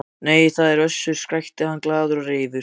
Nei, það er Össur, skrækti hann glaður og reifur.